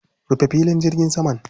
Rufe filin jirgin saman.